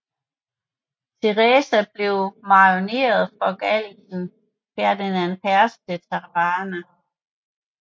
Theresa blev en marionet for galicieren Ferdinand Perez de Trava